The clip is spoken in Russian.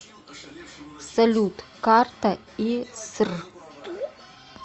салют карта иср